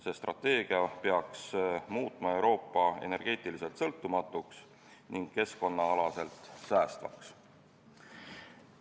See strateegia peaks muutma Euroopa energeetiliselt sõltumatuks ning keskkonnaalaselt säästvaks.